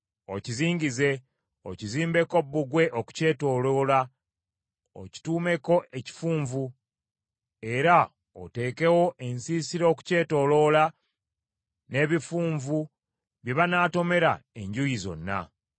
okizingize, okizimbeko bbugwe okukyetooloola, okituumeko ekifunvu, era oteekewo ensiisira okukyetooloola n’ebifunvu bye banaatomera enjuuyi zonna.